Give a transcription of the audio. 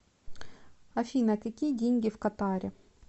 афина какие деньги в катаре